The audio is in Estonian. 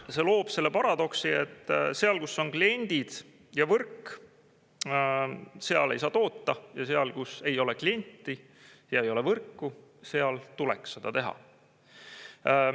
See loob selle paradoksi, et seal, kus on kliendid ja võrk, seal ei saa toota, ja seal, kus ei ole klienti ja ei ole võrku, seal tuleks seda teha.